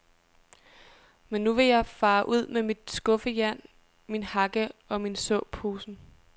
Men nu vil jeg fare ud med mit skuffejern, min hakke og såposen.